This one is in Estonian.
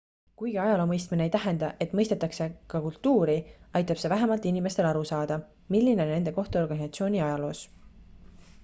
kuigi ajaloo mõistmine ei tähenda et mõistetakse ka kultuuri aitab see vähemalt inimestel aru saada milline on nende koht organisatsiooni ajaloos